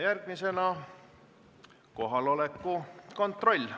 Järgmisena kohaloleku kontroll.